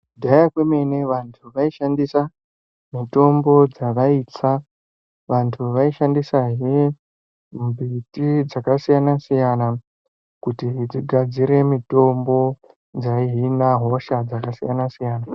Kudhaya kwemene vantu vaishandisa mitombo dzavaitsa, vantu vaishandisahe mbiti dzakasiyana-siyana kuti dzigadzire mitombo dzaihina hosha dzakasiyana-siyana.